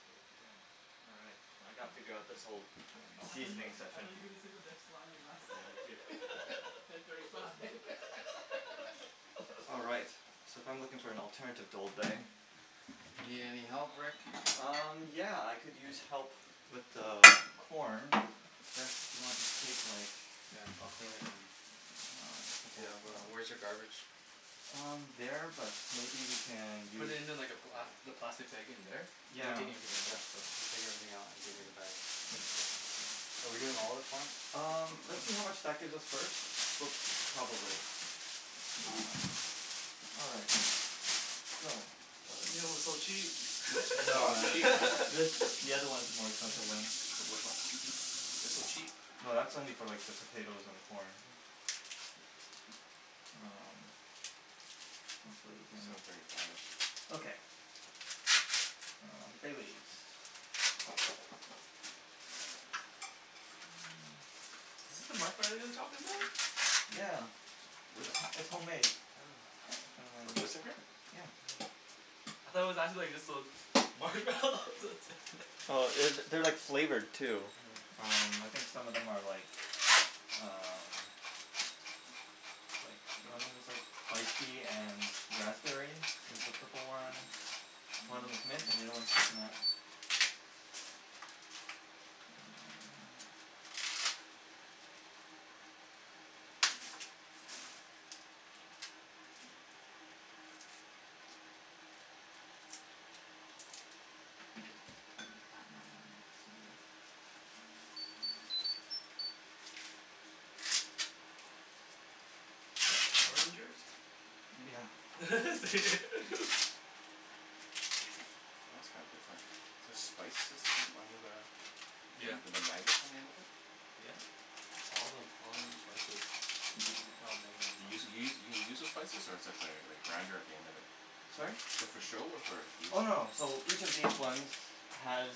So it begins. Alright. So I gotta figure out this whole I gotta mouse I thought on my you, seasoning back. I session. thought you were gonna say the next line or last Yeah line me too ten thirty five. All right. So if I am looking for an alternative to old bay. You need any help Rick? got the chicken. Um yeah I could use help with the corn Sure. and I'll just take like Yeah I'll clean it then. Yeah wh- where's your garbage? Um there, but maybe we can Put use it in like a black, the Yeah plastic bag in there? Cuz we're yeah. taking everything Yeah out so so just take everything out and give me the bag. Are we doing all of the corn? Um let's see how much that gives us first, but probably. All right so. Oh you know it's so cheap. No man this- the other ones are more expensive ones. Like which one? They're so cheap. No that's only for like the potatoes and the corn. Um hopefully we can Seven thirty five Okay um bay leaves Is this the marshmallow you were talking about? Yeah Where? it's- it's homemade. Oh What, this in here? Yeah Hmm I thought it was actually just like those marshmallows Oh that's it it- they're like flavored too. Um I Hmm think some of them are like um like one of them is like lychee and raspberry is the Hmm purple ones, one of them's mint and the other one is coconut. Um let's see Is that Power Ranger's? Yeah is it? Oh that's kinda different. Is this spices on- on the Yeah with the magnets on the end of it? Yep all of them, all of them are spices. They're all You use magnets you you you use the spices or is th- that like a grinder at the end of it? Sorry? Is that for show or for use? Oh no so each of these ones has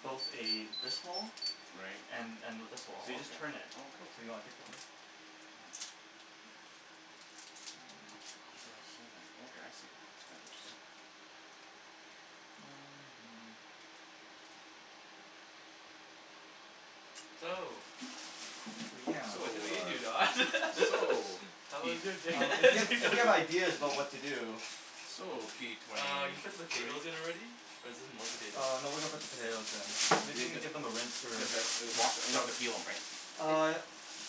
both a this hole Right and and this hole. So you just turn it. oh okay oh cool. Do you wanna take a look? Yeah Oh ground cinnamon oh okay I see. That's kinda interesting. So, So yeah so So I believe you Don. ah so How Uh was p- your day? if p- you, if you have ideas about what to do. So p twenty Uh you put the two potatoes in already, or is this more potatoes? Uh no we are going to put the potatoes in. Maybe you could give them a rinse or a Okay wash, we don't have scrub. to peel them right? Uh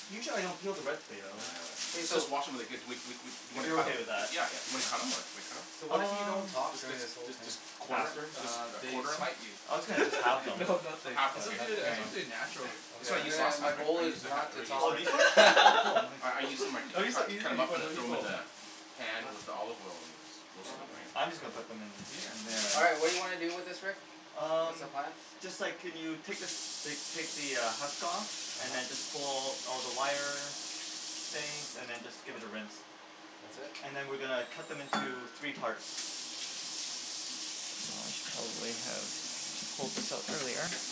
usually I don't peel the red No, potato. yeah I know that. K Let's so just wash em and they're good we- we- we- we If cu- you're okay with , yeah that. Yeah yeah yeah and then cut em or do we cut em? So Should we what cut if we don't Um talk them? during this whole let's jus- thing? just quarter them, faster? jus- Uh just they quarter them? smite you. I was gonna just halve them no or nothing half it's but okay suppose- you yeah it's know yeah supposed to be Nothing? natural. that's what I Okay used then I- last my time right? I goal used is the ha- not or to used Oh talk. these ones? the Oh cool, nice I- I used to cu- cut them up and throw them in the pan with the olive oil and Okay roasted them right. I'm just gonna put them Yeah in- in there. All right what do you wanna do with this Rick? What's Um, the plan? just a sec can you take like take the husk off and then just uh-huh pull all the wire things and then just give it a rinse That's it? and then we are going to cut them into three parts. And I'll just probably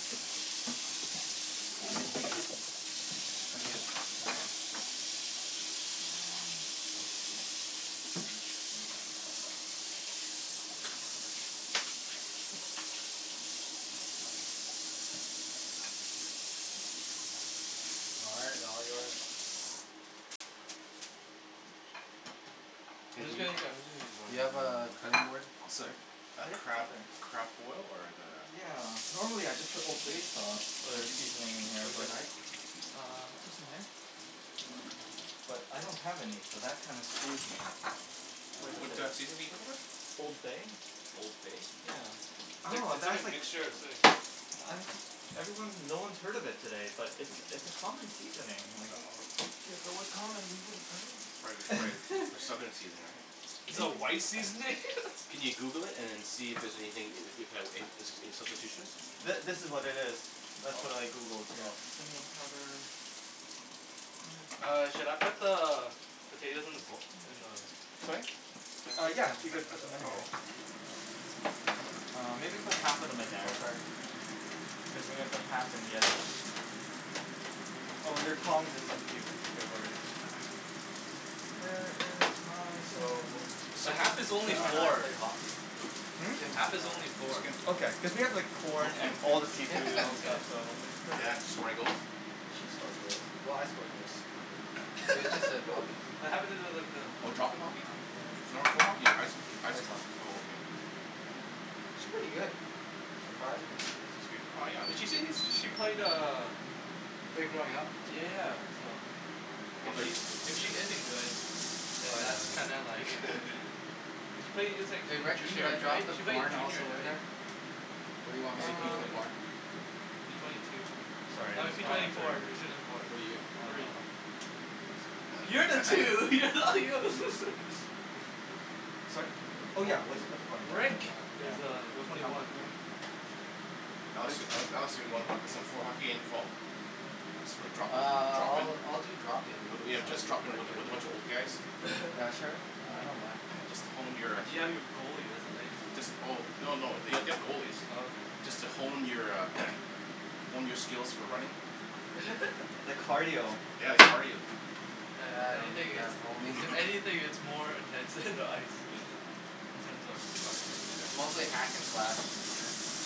Now we gotta cut them here. Um All right they're all yours. Hey do you, do you have a cutting board? I'm sorry a Ah yep, it's crab, right there. crab boil or is it a? Yeah, normally I just put old bay sauce or seasoning in here Where's your but knife? Uh just in here I don't have any so that kinda screws me, quite a What bit. a seasoning are you looking for? Old bay Old bay? yeah It's like- oh it's like a that's like, mixture of something. I'm jus- everyone- no one has heard of it today, but it's it's a common seasoning I like know Yeah if it was common we woulda heard of Prob- prolly for it. southern seasoning Is right it a maybe white seasoning? Can you Google it and then see if- if there's anything, if- if there's any substitutions? Th- this is what it is. That's what I Oh Googled here. oh Cinnamon powder Where is my? All right, should I put the potatoes in the bo- in the Sorry? Uh yeah if you could put them in uh here. oh Uh maybe put half of them in there Oh sorry cuz then we'll put half in the other one. Oh there are tongs and stuff if you if you're worried. Where is my cinnamon? So Just a The second half is only Kim yeah and I four, pay hockey Hmm? Hmm? Kim half and is only I Which four. Kim? Okay cuz we have like oh corn Kim and all the Kim Kim seafood Yeah and okay stuff so it's quite a Yeah did she score any goals? She scored goals, well I score goals too but it was just a drop in. What happen to like the Oh drop in hockey? Yeah floor- floor hockey? I- ice hockey ice ice hockey? hockey oh okay She's pretty good, surprised me. She's good well yeah She seems when she played uh Played growing up Yeah so if she if she isn't good Oh then yeah that's then kinda like cuz she played Hey since Rick? Should I juniors drop right? the She played in corn juniors also right? in there? What do you want Is me he to p do with Um the twenty one? corn? P twenty two sorry I I'm mean just P gonna twenty four, after P twenty four What are you? Three um Oh that's right You're the two, you're not Sorry? Oh yeah we'll just put the corn in there Rick yeah is pu- uh Okay we'll put twenty half of one. them in there. Yeah Alex- Alex do wanna pl- play some floor hockey at the end of fall? Just for drop in, Ah drop in? I'll- I'll do drop in Yeah just drop in with a, with a bunch of old guys? Yeah sure I don't mind Just to hone your, But you have your goalie that's the thing. jus- oh, oh no they- they have Oh goalies. okay Just to hone your a, hone your skills for running. The cardio Yeah if Yeah I anything need it's, that honing. if anything it's more intense than the ice, in terms of cardio. It's mostly hack and slash. Yeah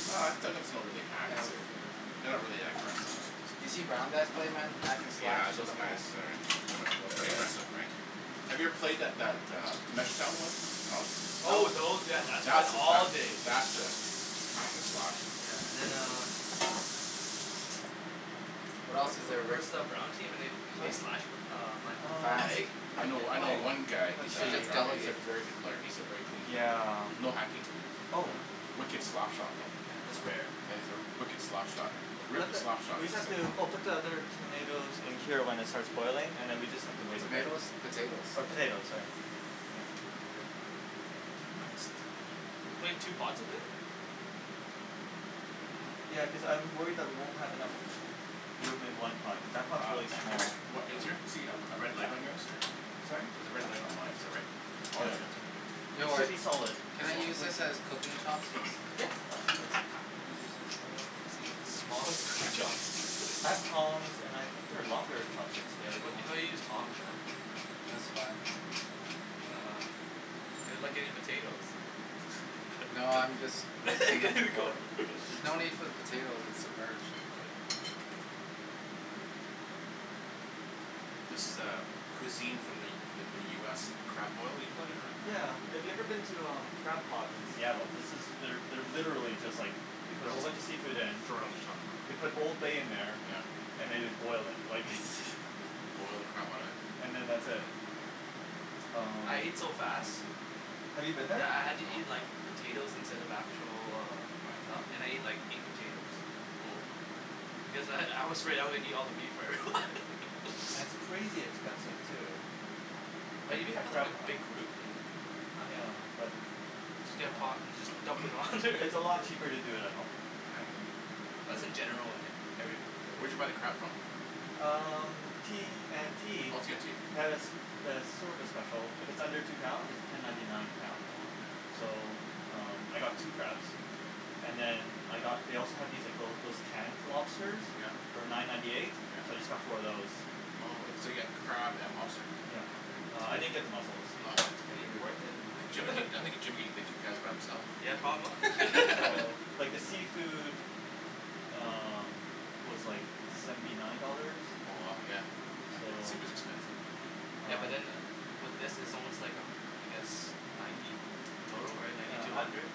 Oh it's not really hack. Yeah It's a- wh- but they're not really that aggressive. you seen brown guys play man hack and slash Yeah to those the guys max. are, are pretty aggressive right? Have you ever played that, that a Oh those, yeah that's That's a, days that's a hack and slash. Yeah and then uh What else is there we Rick? versed that brown team and they slashed Mhm uh my Um I'm fast leg I know, I know oh one guy You who's let's a, should see just he's a delegate. very good player, he's a very clean Mm player, yeah? yeah no hacking, oh wicked slap shot though, Yeah that's rare yeah yeah he's a wicked slap shot, a We have wicked to slap shot we just have sayin. to oh put the other hm tomatoes in until it starts boiling then we just have to wait a bit. Tomatoes? Potatoes Or potatoes sorry you know All good Oh I'm gonna sit down. we're putting two pots of it? Ya cuz I'm worried that we won't have enough room in one pot cuz that pots Uh really small. Rick, wha- is there supposed to be a- a red light on yours or? Sorry? There's a red light on mine is that right? Oh yeah Yep you have it too It okay. should Rick be solid. can I Solid use this as cooking chopsticks? Yeah Yeah absolutely Those are like the smallest cooking I have tongs and I think there are longer chopsticks there if You you gotta- you want. gotta use tongs man. That's fine. Uh, they're like potatoes No I'm just mixing it There ya before. go There's no need for the potatoes, it's submerged. This is a- cuisine from the- from the U S crab boil usually or Yeah if you a? have ever been to Crab Pot in Seattle this is, they're literally just like, they put a whole bunch of seafood in, And throw it on the top they put oh old bay in there yeah and they just boil it, like its Just boil the crap out of Hm it? and then that's it yeah Oh um. I ate so fast, Have you been there? that I had to eat No like potatoes instead of actual uh stuff and I Why? ate like eight potatoes Whoa because I- I was afraid I was gonna eat all the meat before everyone. And it's crazy expensive too But when Oh you a- know I at never had, Crab a Pot. big group, uh not Yeah bad. but Just I get a dunno pot and just dump it all in there. It's a lot cheaper to do it at home. Oh yeah That's in general on every food Where'd right? you buy the crab from? Um T&T Oh T&T they have a have a service special, if it's under two pounds it's ten ninety nine a Oh- pound. oh okay Hm So um I got two crabs and then I got they also had these like little those canned lobsters Yep yep for nine ninety eight so I just got four of those. Oh- oh so you got crab and lobster Yep Uh I okay. didn't get the Is muscles. Oh yeah that's he, is okay. he worth it? I think Jim, I think Jim coulda ate the two crabs by himself. Yeah probably So like the seafood um was like seventy nine dollars. Oh wow, yeah So seafood's expensive man. Yeah um but in with this, is almost like a I guess ninety dough right Oh ninety Yeah to a I'm hundred?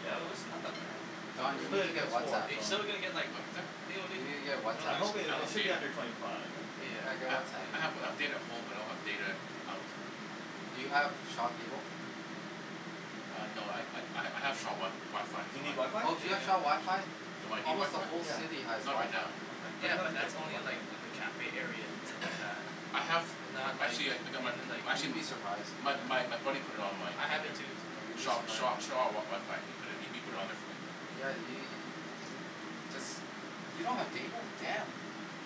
yeah Although it's not that bad. It's But Don, you a good Oh thing need to I get got four Whatsapp. you so Huh still didn't get like, what was that? I think only You need to get I I'm Whatsapp. hoping don't i- it have should be data. under twenty five I'm thinking. Yeah get I- Yeah Whatsapp I have yeah data at home but I don't have data out. Do you have Shaw cable? Ah no I ha- I have Sha- Shaw WiFi Do you on need there. WiFi? Oh do you have Shaw WiFi? Yeah Do I need Almost the WiFi? whole Yeah city has Not right WiFi. now. okay let Yeah me know if but you guys that's need only in WiFi. like the cafe areas and stuff like that I have, and not like actually I- I got my in like You'd actually be surprised. my my buddy put it on my I have it there too Yeah you'd , be so Shaw- surprised. Shaw WiFi ,he pu- put it on there for me. Yeah we- jus- you don't have data? Damn.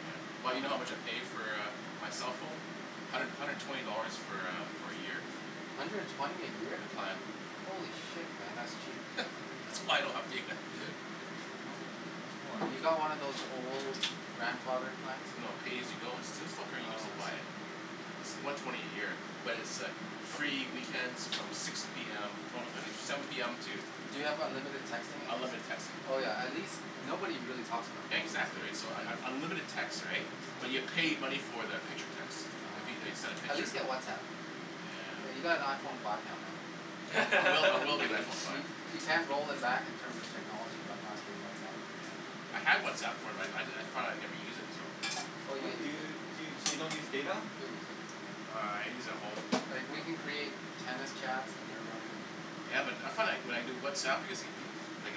Yeah well you know how much I pay for a my cell phone? hundred- hundred and twenty dollars for a for a year. Hundred and twenty a year? The plan Holy shit man that's cheap. That's why I don't have data. No- no Have swearing you got one of those old grandfather plans? No pay as you go it's still- still Oh buy it. I see It's the one twenty a year but it's a free weekends from six p m no I think seven p m to Do you have unlimited texting at least? Unlimited texting Oh yeah at least- nobody really talks on the phone these Exactly days. right so un- unlimited text right, but you pay money for the picture text, Oh if they okay send a At picture. least get Whatsapp. I mean you Yeah got an Iphone five now man. I will I will get an Iphone five. You- you can't roll it back in terms of technology by not getting Whatsapp. Yeah I had Whatsapp before, I- I thought I'd never use it so. Oh you'll Do use it, you, so you don't use data? you'll use it. Uh I use at home. Like we can Okay create tennis chats and everyone who Ya but I, I found when I do Whatsapp I get like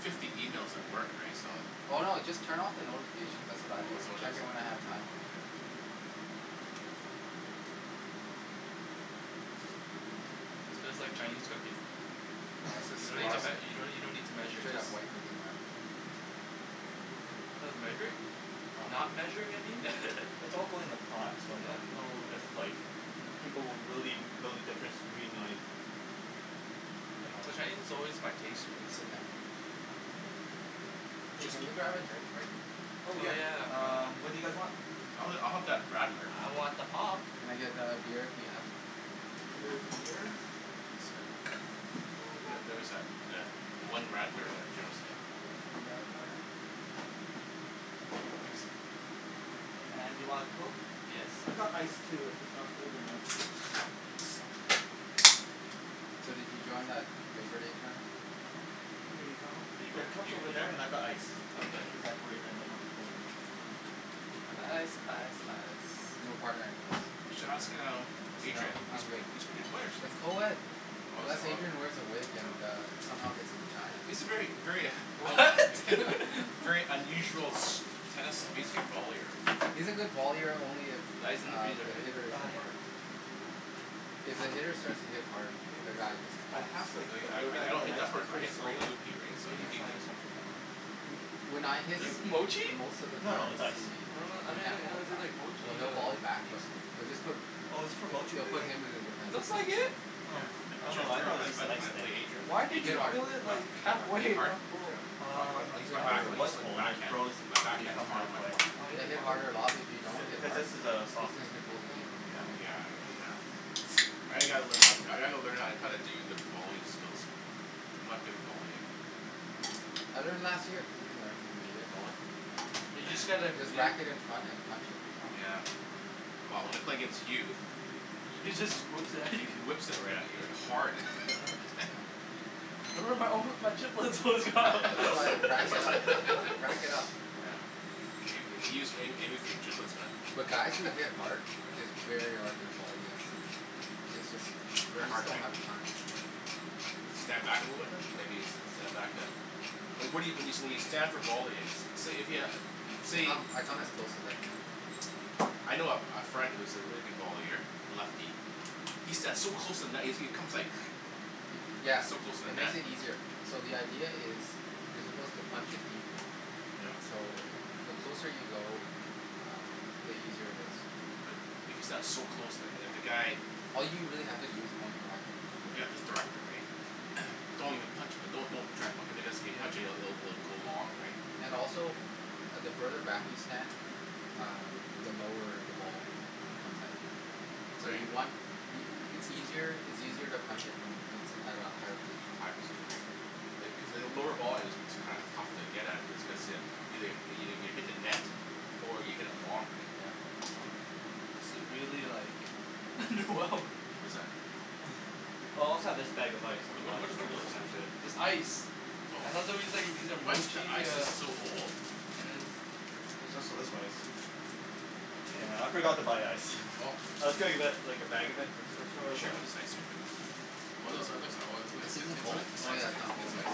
fifty emails at work right so I Oh no just turn off the notifications that's what I do Oh is that and what it check is? in when I have time. oh okay. This feels like Chinese cooking No, this is you don't need straight to- up, you don't need to you don't need to measure straight just up white cooking man. Oh measuring? Oh no not measuring I mean yeah mm It's all going in a pot so I don't know if like people will really know the difference between like you know? Well Chinese is always by pace right? Hey can we grab a drink Rick? Oh Oh yeah yeah um what do you guys um Oh want? I'll have I'll have that radler. I want the pop. Can I get a beer if you have? Here is a beer. Here is a radler. Thank you sir Yeah there was tha- that one radler that Jim seen. Here is a radler. Thanks And do you want a coke? Yes I've got ice please too if it's not cold enough. So did you join that labour day tournament? No Here you you- go. There are you cups are over there and I've got ice if Okay cuz I'm worried that might not be cold enough. I didn't ice, ice, ice no, no What? partner anyways. You should ask um No Adrian. I'm good He's a pretty good player actually. it's coed, Oh is- unless oh Adrian wears a wig and yeah. a somehow gets a vagina. He's a very, very What? K, very there's your unusual pop. tennis vollier. He's a good vollier only if Ice is in the uh freezer the right? hitter Ah isn't yep hard. Hmm If the hitter starts to hit hard, the guy just I flops. have like a Really? I- little I- I bag of don't an hit ice that but hard, it's I really hit solid very loopy right so so I'm he- gonna he- try he this one for now. When I hit Is this Motchi? most of the No no times it's ice he I don- um then can't why volley does it say back like or Motchi here he'll on volley back it but they'll just put Oh is this for Motchie they'll do you think? put him in a defense Looks like position. it. Oh, Yeah I- I'm oh trying no fig- I figure thought how- it was just an how ice to pl- thing. play Adrian but Why did Hit Adrian you What? hard, fill it like hit half way hard, hit hit and hard? hard, not full? I- I Um use, hit I think harder it I was use my full and I backhand, froze it my to the better backhand is become harder than half my way. forehand. Then hit harder a lot, but if you don't Cu- hit cuz hard this is a he's soft going to Yeah control the game. on the Yeah Oh bottom. yeah yeah I g- gotta learn, I gotta learn how to- how to do the volley skills. I'm not good at volleying. I learned last year. You can learn in a year. Volley? Yeah You just get like just you whack it in front and punch it. Yeah well when I play against you, He just whips it at he you. whips it right at you hard. Yeah That's why I rack it up, rack it up. Yeah may- maybe he's aiming for your giblets man. But guys that hit Yeah hard, it's very hard to volley against them it;s jus- They're you just hard don't right? have the time. Stand back a little bit then? Maybe stand back yeah Well, what- what you, when you, when you stand for volleying say if you, I say come, I come as close as I can. I know a friend, who's a really good vollier, a lefty. He stands so close to the net he comes like, he's Yeah so close to the it net. makes it easier. So the idea is, you're supposed to punch it deep. Yep So the closer you go, um the easier it is. But, if you stand so close to- if the guy All you really have to do is point your racket and just Yeah direct it. just direct it right? yeah Don't even punch it, don't- don't even try be- cuz if you Yeah punch it- it'll go long right? And also, the further back you stand, um the lower the ball comes at you. So Right you want y- y- it's easier to punch it at a higher position. A higher position right cuz a lower volley is what's kinda tough to get at it just cu- cuz you- you hit the net or you hit it long right? Yeah Right This is really like wrong like What is that? Oh I also have this bag of ice if Whata- you whata- wanna just what try are and those smash things? it. This ice Oh, ice is so old. There's also this ice, yeah I forgot to buy ice, I was gonna li- like a bag of it from superstore She but wants ice cream in it? This isn't cold? Oh yeah not cold yet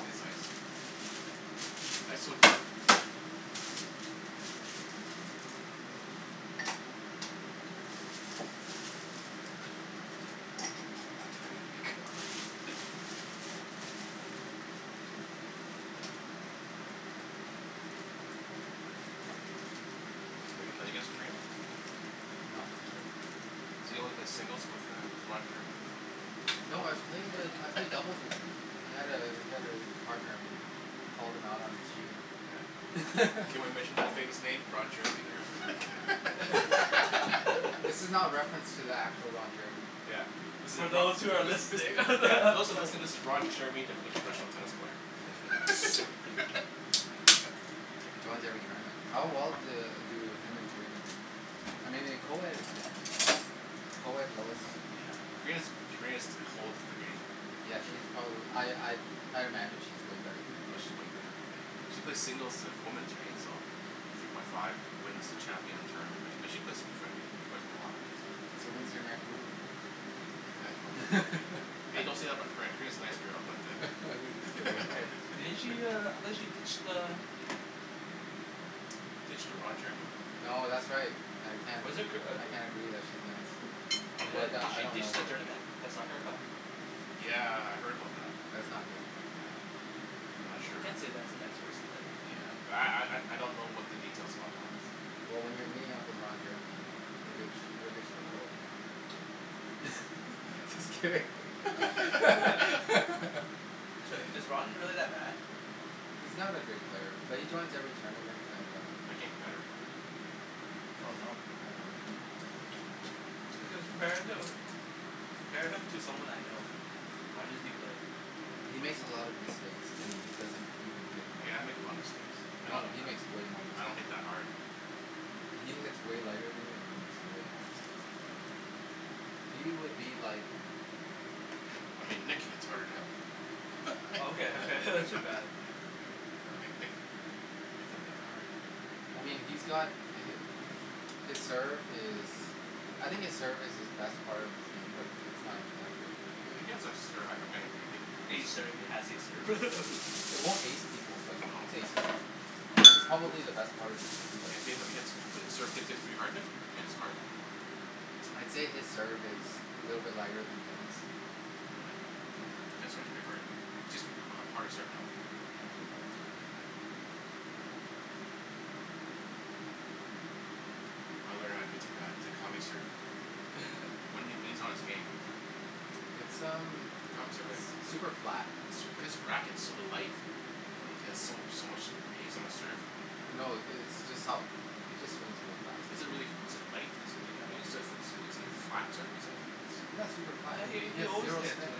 Have you played against Korina? No So you only played singles with uh Roger? No I've played I've played doubles with him, he had a he had a partner who called him out on his cheating. Can we mention the famous name Ron Jeremy there. This is not reference to the actual Ron Jeremy Yeah, this is a So yeah, those who are listening those that are listening this is Ron Jeremy the professional tennis player. He joins every tournament. How well do do him and Karina do? I mean in co-ed it's different. In co-ed low is Karina's Karina's holds the game Yeah she's probably I I I imagine she's way better than him. Oh she's way better. She plays singles of women's right, so, three point five wins the champion tournament right, she play profe, she plays a lot So when's their next movie? hey don't say that in my crib, Karina's a nice girl but uh Didn't she uh, I thought she ditched uh Ditch to Ron Jeremy No that's right I Was it Kir- uh I can't agree that she's nice, Yeah, but did I she don't know ditched the her. tournament, the cup? Yeah. Yeah, I heard about that. That's not good. Yeah, I'm not I sure. can't say that's a nice person than. Yeah, but I I don't know what the details about that one is, so Well when you're meeting up with Ron Jeremy, you ditch, you you'll ditch the world just Yeah. kidding Is is Ron really that bad? He's not a great player but he joins every tournament and um Looking better though Oh no. I don't know. compare him compare him to someone I know, how did he play? He makes a lot of mistakes and he doesn't even hit hard Yeah, I make a lot of mistakes, I don't No he hit makes way more I don't mistakes hit than that you hard He he hits way lighter than you and he makes way more mistakes. He would be like I mean Nick hits hard than him Okay okay Uh Nick Nick, Nick doesn't hit that hard I mean he's got the hit His serve is I think his serve is his best part of his game but it's not even that good I mean he has a serve, I mean he hit Ace serve he has a serve It won't ace people but No it it's probably the best part of his game but He he hits, his serve gets to be hard then, he hits hard? I'd say his serve is a little bit lighter than Jen's. All right. Yeah. Jen's serve is pretty hard, she's uh harder serve now. Yeah she has a harder serve now. I learn how to do Takami's serve, when he when he's on his game It's um s- super super flat, flat his his racket is so light and he has so so much hast on his serve No the it's just how, he just swings really fast Is it really, is it light? Is I mean is it is it a flat term you said? Yeah it's super flat Yeah and he he he he has always zero hits spin,